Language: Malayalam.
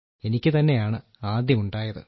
എനിക്കു തന്നെയാണു ആദ്യം ഉണ്ടായത്